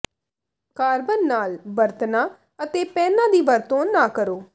carbon ਨਾਲ ਬਰਤਨਾਂ ਅਤੇ ਪੈਨਾਂ ਦੀ ਵਰਤੋਂ ਨਾ ਕਰੋ